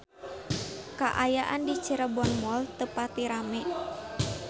Kaayaan di Cirebon Mall teu pati rame